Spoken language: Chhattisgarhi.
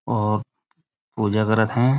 और पूजा करत थे।